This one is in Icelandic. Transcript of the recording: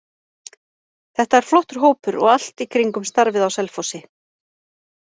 Þetta er flottur hópur og allt í kringum starfið á Selfossi.